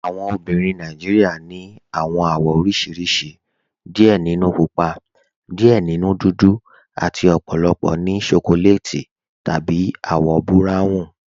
Awọn obìnrin Nàìjíríà ni awọn awọ̀ oríṣiríṣì, díẹ̀ nínú púpà, díẹ̀ nínú dúdú, àti ọ̀pọ̀lọpọ̀ ní ṣókòlètì tàbí awọ̀ buráwùn